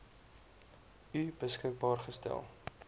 u beskikbaar gestel